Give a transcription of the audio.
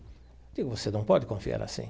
Eu digo, você não pode confiar assim.